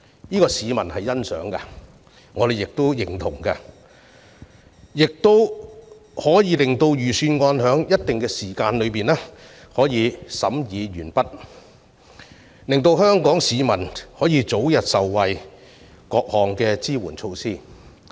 這是市民所欣賞的，我們亦相當認同，可以讓預算案在一定時間內審議完畢，令香港市民可以早日受惠於各項支援措施。